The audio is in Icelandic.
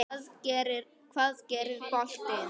Hvað gerir boltinn?